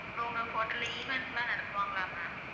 இப்ப உங்க hotel ல events லாம் நடத்துவாங்களா ma'am?